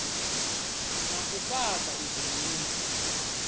na u fhaṱa u ḓiimisa